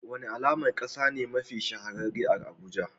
Wani alamar kasa ne mafi shahararre a Abuja?